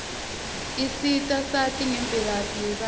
isita sati nangemvelaphi yebatfu